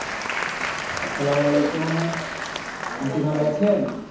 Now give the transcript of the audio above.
আসসালামু আলাইকুম Aunty ভালো আছেন?